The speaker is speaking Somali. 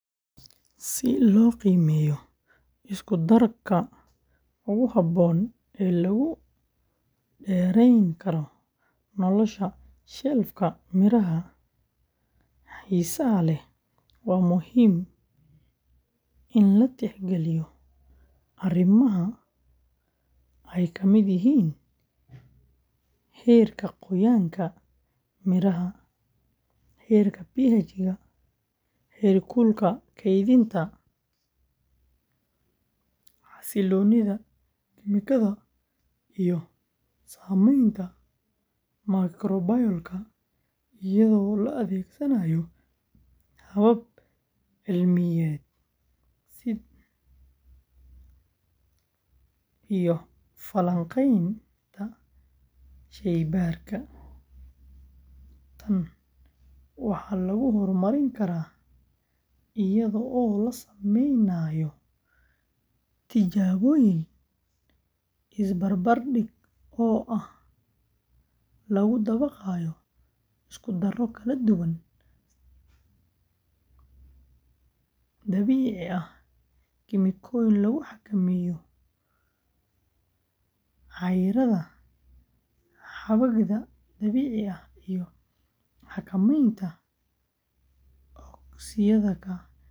Si loo qiimeyo isku darka ugu haboon ee lagu dereen karo nolosha shelf miraha xiisaha leh waa muhiim in la tix galiyo arimaha aay kamid yihiin xiirka qoyaanka miraha, heer kulka keedinta, xasiloonida kemikada iyo sameenta ayado la adeegsanaayo habab cilmiyeed si iyo fakaqeenta sheey baarka, tan waxa lagu hor marin karaa ayado lasameynayo tilaboyin is barbar dig oo lagu dabaqaayo isku daro kala duwan, dabiici ah, kemiko lagu xakameeyo iyo xakameenta oksiyada.